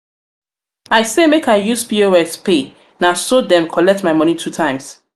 i say make i use pos pay na so dem collect my moni two times.